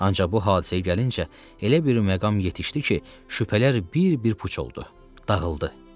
Ancaq bu hadisəyə gəlincə elə bir məqam yetişdi ki, şübhələr bir-bir puç oldu, dağıldı.